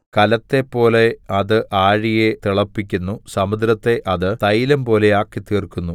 കലത്തെപ്പോലെ അത് ആഴിയെ തിളപ്പിക്കുന്നു സമുദ്രത്തെ അത് തൈലംപോലെയാക്കിത്തീർക്കുന്നു